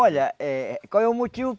Olha, eh qual é o motivo?